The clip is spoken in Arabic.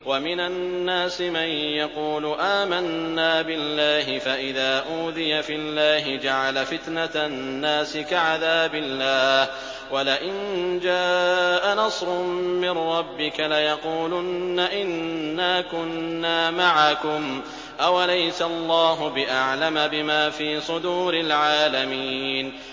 وَمِنَ النَّاسِ مَن يَقُولُ آمَنَّا بِاللَّهِ فَإِذَا أُوذِيَ فِي اللَّهِ جَعَلَ فِتْنَةَ النَّاسِ كَعَذَابِ اللَّهِ وَلَئِن جَاءَ نَصْرٌ مِّن رَّبِّكَ لَيَقُولُنَّ إِنَّا كُنَّا مَعَكُمْ ۚ أَوَلَيْسَ اللَّهُ بِأَعْلَمَ بِمَا فِي صُدُورِ الْعَالَمِينَ